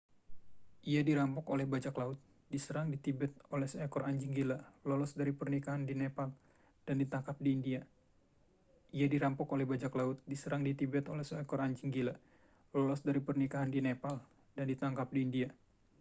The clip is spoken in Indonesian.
ia dirampok oleh bajak laut diserang di tibet oleh seekor anjing gila lolos dari pernikahan di nepal dan ditangkap di india